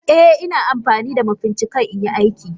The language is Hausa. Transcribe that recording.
Eh Ina amfanida Mafincikan inyi aiki.